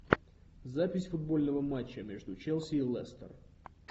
запись футбольного матча между челси и лестер